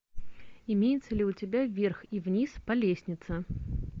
имеется ли у тебя вверх и вниз по лестнице